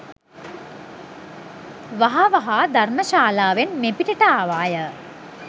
වහ වහා ධර්ම ශාලාවෙන් මෙපිටට ආවාය